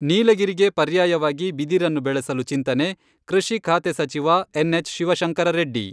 ನೀಲಗಿರಿಗೆ ಪರ್ಯಾಯವಾಗಿ ಬಿದಿರನ್ನು ಬೆಳೆಸಲು ಚಿಂತನೆ, ಕೃಷಿ ಖಾತೆ ಸಚಿವ ಎನ್.ಎಚ್.ಶಿವಶಂಕರರೆಡ್ಡಿ.